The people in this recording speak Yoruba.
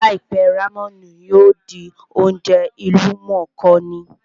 Láìpẹ́, rámẹ̀nì yóò di oúnjẹ ìlú mọ̀ọ́ kà ní